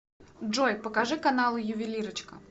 джой покажи каналы ювелирочка